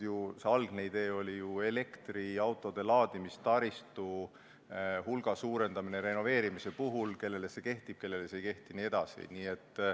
Algne idee oli ju elektriautode laadimise taristu suurendamine renoveerimise puhul – kellele see kehtib, kellele see ei kehti jne.